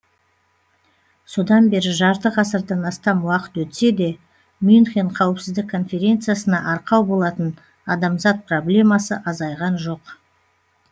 содан бері жарты ғасырдан астам уақыт өтсе де мюнхен қауіпсіздік конференциясына арқау болатын адамзат проблемасы азайған жоқ